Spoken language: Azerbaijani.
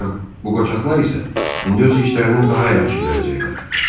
Bu qoçaqlar isə indi öz işlərini daha yaxşı görəcəklər.